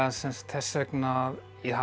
þess vegna að ég hafi